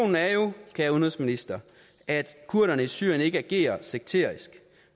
kære udenrigsminister at kurderne i syrien ikke agerer sekterisk